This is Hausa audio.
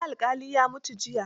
Wani alƙali ya mutu jiya